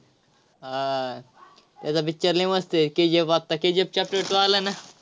हां, त्याचा picture लय मस्त आहे KGF आत्ता KGF chapter two आलाय ना.